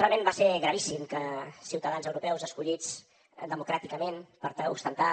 realment va ser gravíssim que ciutadans europeus escollits democràticament per tal d’ostentar